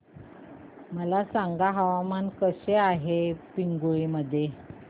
मला सांगा हवामान कसे आहे पिंगुळी मध्ये